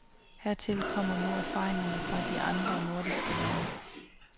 Hertil kommer nu erfaringerne fra de andre nordiske lande.